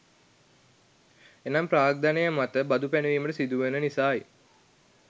එනම් ප්‍රාග්ධනය මත බදු පැනවීමට සිදුවන නිසයි.